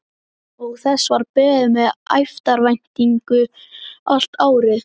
Og þess var beðið með eftirvæntingu allt árið.